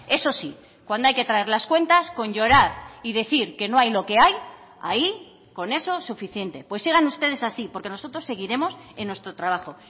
eso sí cuando hay que traer las cuentas con llorar y decir que no hay lo que hay ahí con eso suficiente pues sigan ustedes así porque nosotros seguiremos en nuestro trabajo